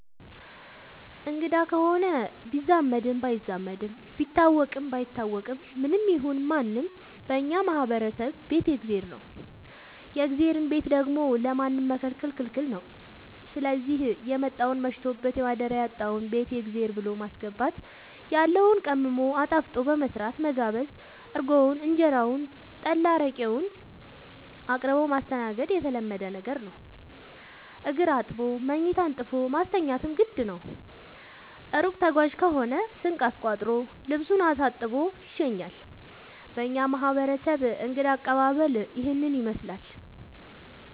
አንግዳ ከሆነ ቢዛመድም ባይዛመድም ቢታወቅም ባይታወቅም ማንም ይሁን ምንም በእኛ ማህበረሰብ ቤት የእግዜር ነው። የእግዜርን ቤት ደግሞ ለማንም መከልከል ክልክል ነው ስዚህ የመጣውን መሽቶበት ማደሪያ ያጣውን ቤት የእግዜር ብሎ በማስገባት ያለውን ቀምሞ አጣፍጦ በመስራት መጋበዝ እርጎውን እንጀራውን ጠላ አረቄውን አቅርቦ ማስተናገድ የተለመደ ነገር ነው። እግር አጥቦ መኝታ አንጥፎ ማስተኛትም ግድ ነው። እሩቅ ተጓዥ ከሆነ ስንቅ አስቋጥሮ ልሱን አሳጥቦ ይሸኛል። በእኛ ማህረሰብ እንግዳ አቀባሀል ይህንን ይመስላል።